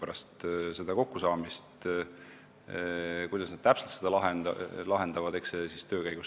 Eks see, kuidas nad selle täpselt lahendavad, selgub töö käigus.